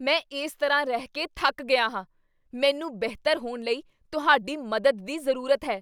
ਮੈਂ ਇਸ ਤਰ੍ਹਾਂ ਰਹਿ ਕੇ ਥੱਕ ਗਿਆ ਹਾਂ! ਮੈਨੂੰ ਬਿਹਤਰ ਹੋਣ ਲਈ ਤੁਹਾਡੀ ਮਦਦ ਦੀ ਜ਼ਰੂਰਤ ਹੈ!